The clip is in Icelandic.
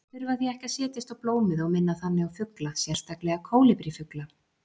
Þeir þurfa því ekki að setjast á blómið og minna þannig á fugla, sérstaklega kólibrífugla.